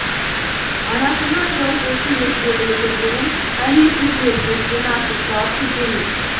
анашымның жылы жүзі ес білгелі көргенім әлі есімде еркелікпен асыр салып күлгенім